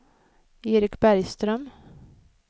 Erik Bergström